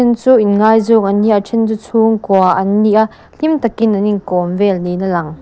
chu in ngaizawng an ni a a then chu chhungkua an ni a hlim tak in an in kawm vel niin a lang.